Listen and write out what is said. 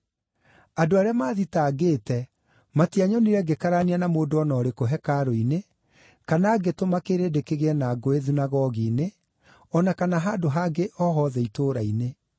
Andũ arĩa maathitangĩte matianyonire ngĩkararania na mũndũ o na ũrĩkũ hekarũ-inĩ, kana ngĩtũma kĩrĩndĩ kĩgĩe na ngũĩ thunagogi-inĩ, o na kana handũ hangĩ o hothe itũũra-inĩ.